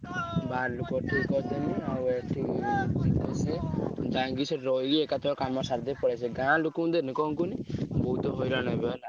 ଯାଇକି ସେଠି ରହିକି ଏକାଥରେ କାମ ସାରି ଦେଇ ପଳେଈ ଆସିବି ଗାଁ ଲୋକଙ୍କୁ ଦେଲେ କଣ କହିଲୁ ବହୁତ୍ ହଇରାଣ ହବ ହେଲା।